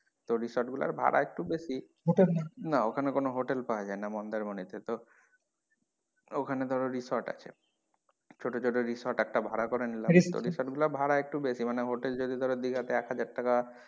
তো resort গুলোর ভাড়া একটু বেশি না ওখানে কোনো hotel পাওয়া যায়না মন্দারমনি তে তো ওখানে ধরো resort আছে ছোটো ছোটো resort একটা ভাড়া করে নিলাম resort গুলোর ভাড়া একটু বেশি মানে hotel যদি ধরো দিঘা তে এক হাজার টাকা,